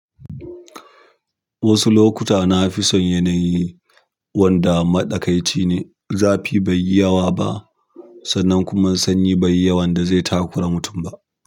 Wasu lokuta na fi son yanayin wanda maɗakaici ne, zafi baiyi yawa ba sannan kuma sanyi baiyi yawan da zai takura mutum ba.